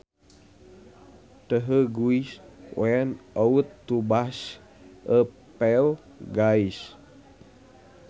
The guys went out to bash a few gays